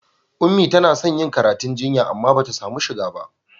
Ummi tana son yin karatu jinya amma ba ta sami shiga ba.